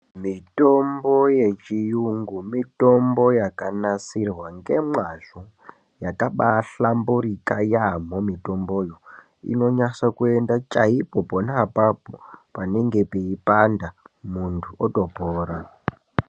Mitombo yechiyungu mitombo yakanasirwa ngemwazvo yakambaahlamburika yaambho mitomboyo unonasa kuenda chaipo pona apapo panenge peipanda munhu otopora.